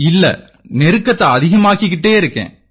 இல்லை நெருக்கத்தை அதிகமாக்கிட்டு இருக்கேன்